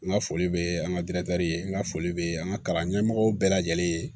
N ka foli bɛ an ka diɲɛtɛli n ka foli bɛ an ka kalan ɲɛmɔgɔw bɛɛ lajɛlen ye